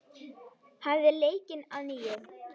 Hafið leikinn að nýju.